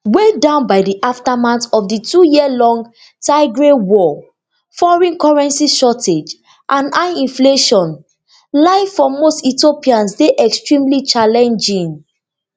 weighed down by di aftermath of di twoyear long tigray war foreign currency shortage and high inflation life for most ethiopians dey extremely challenging